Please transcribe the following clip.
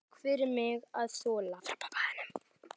Takk fyrir mig að þola.